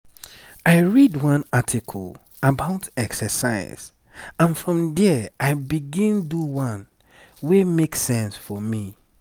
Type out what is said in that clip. i read one article about exercise and from there i begin do one wey make sense for me.